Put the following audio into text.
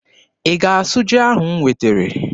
Ị ga-asụ ji ahụ m wetere?